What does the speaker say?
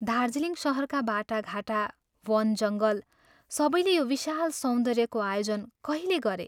दार्जीलिङ शहरका बाटाघाटा, वन जङ्गल सबैले यो विशाल सौन्दर्यको आयोजन कहिले गरे?